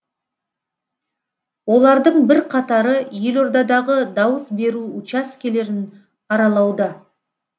олардың бірқатары елордадағы дауыс беру учаскелерін аралауда